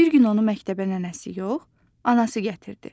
Bir gün onu məktəbə nənəsi yox, anası gətirdi.